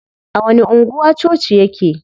A wani anguwa coci yake?